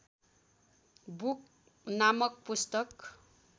book नामक पुस्तक